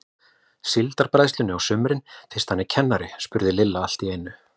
Síldarbræðslunni á sumrin fyrst hann er kennari? spurði Lilla allt í einu.